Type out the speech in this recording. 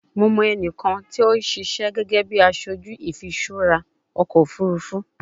Mo mọ ẹnikan ti o sise gege bi aṣoju ifiṣura ọkọ ofurufu